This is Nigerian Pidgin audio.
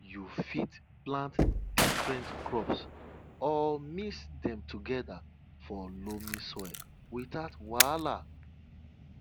you fit plant different crops or mix dem together for loamy soil without wahala